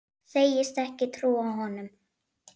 Segist ekki trúa honum.